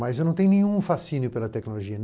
Mas eu não tenho nenhum fascínio pela tecnologia.